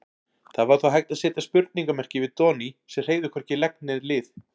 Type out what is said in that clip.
Það var þó hægt að seta spurningarmerki við Doni sem hreyfði hvorki legg né lið.